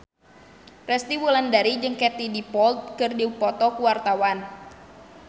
Resty Wulandari jeung Katie Dippold keur dipoto ku wartawan